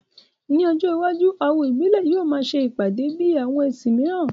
Ní ọjọ́ iwájú, awo ìbílẹ̀ yóò máa ṣe ìpàdé bíi àwọn ẹ̀sìn míìràn